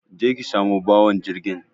Je ki samu bawan jirgin.